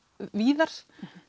víðar